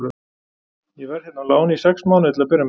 Ég verð hérna á láni í sex mánuði til að byrja með.